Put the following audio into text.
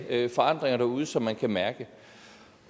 forandringer derude som man kan mærke